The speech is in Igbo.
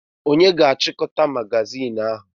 Onye ga-achịkọta magazinụ ahụ?